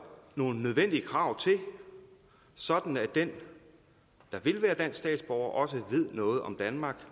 nogle nødvendige krav til sådan at den der vil være dansk statsborger også ved noget om danmark